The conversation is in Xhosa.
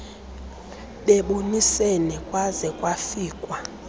bebonisene kwaze kwafikwa